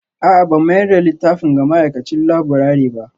A'a ban mayar da littafin ga ma'aikacin laburare ba